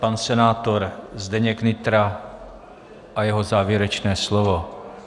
Pan senátor Zdeněk Nytra a jeho závěrečné slovo.